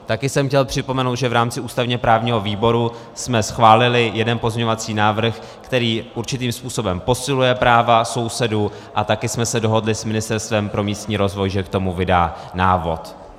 Taky jsem chtěl připomenout, že v rámci ústavně-právního výboru jsme schválili jeden pozměňovací návrh, který určitým způsobem posiluje práva sousedů, a taky jsme se dohodli s Ministerstvem pro místní rozvoj, že k tomu vydá návod.